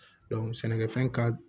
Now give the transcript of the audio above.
sɛnɛkɛfɛn ka